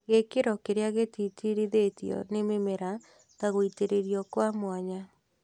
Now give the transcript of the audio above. Gĩkĩro kĩrĩa gĩtĩtĩrithĩtio nĩ mĩmera ta gũitĩrĩrio kw mwanya